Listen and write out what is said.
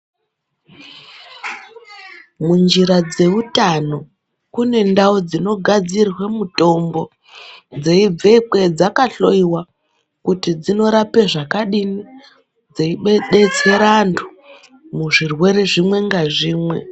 Munjira dzeutano kune ndau dzinogadzirwe mutombo dzeibvekwe dzakahloyiwa kuti dzinorapa zvakadiini dzeibetsera vantu muzvirwere zvimwe nazvimwe.